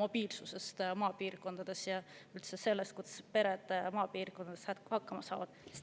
mobiilsusest maapiirkondades ja üldse sellest, kuidas pered maapiirkondades hakkama saavad.